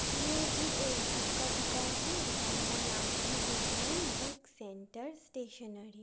ये भी एक बुक का दुकान है दुकान का नाम है विघ्नन बुक सेंटर स्टेशनरी